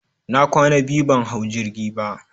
na kwana biyu ban hau jirgi ba.